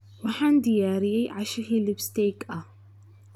Waxaan diyaariyey casho hilib steak ah.